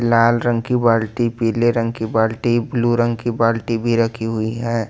लाल रंग की बाल्टी पीले रंग की बाल्टी ब्लू रंग की बाल्टी भी रखी हुई है।